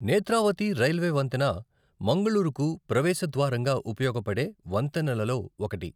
Netravati railway వంతెన మంగళూరుకు ప్రవేశ ద్వారంగా ఉపయోగపడే వంతెనలలో ఒకటి.